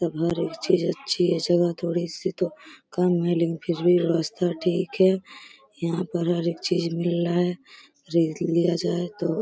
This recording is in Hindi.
सब अच्छी है। चलो थोड़ी सी तो कम है लेकिन फिर भी व्यवस्था ठीक है। यहाँ पर हरेक चीज मिल रहा है। जल्दी लिया जाये तो।